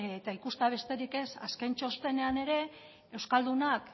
eta ikustea besterik ez azken txostenean ere euskaldunak